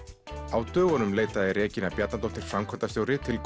á dögunum leitaði Regína Bjarnadóttir framkvæmdastjóri til